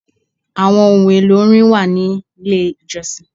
Àwọn ohun èlò orin wà nílé ìjọsìn.